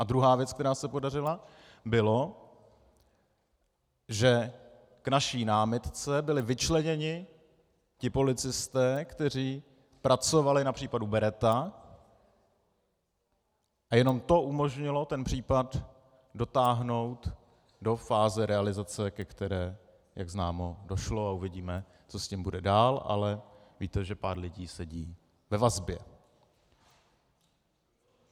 A druhá věc, která se podařila, bylo, že k naší námitce byli vyčleněni ti policisté, kteří pracovali na případu Beretta, a jenom to umožnilo ten případ dotáhnout do fáze realizace, ke které, jak známo, došlo, a uvidíme, co s tím bude dál, ale víte, že pár lidí sedí ve vazbě.